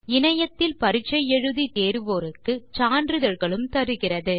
இணையத்தில் பரிட்சை எழுதி தேர்வோருக்கு சான்றிதழ்களும் தருகிறது